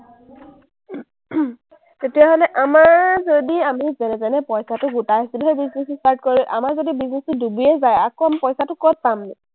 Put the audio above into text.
তেতিয়াহ’লে আমাৰ যদি আমি যেনেতেনে পইচাটো গোটাই business start, আমাৰ যদি business টো ডুবিয়েই যায়, আকৌ আমি পইচাটো ক’ত পামনো?